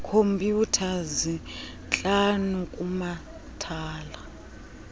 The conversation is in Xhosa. khompyutha zintlanu kumathala